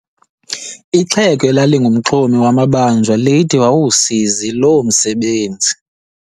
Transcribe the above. Ixhego elalingumxhomi wamabanjwa lithi wawulisikizi loo msebenzi.